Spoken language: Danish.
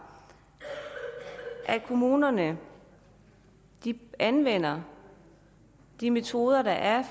at kommunerne anvender de metoder der er